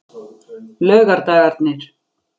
laugardagarnir